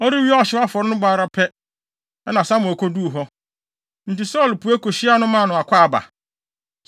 Ɔrewie afɔre no bɔ ara pɛ, na Samuel koduu hɔ. Enti Saulo pue kohyiaa no maa no akwaaba.